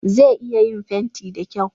Zai iya yin fenti da kyau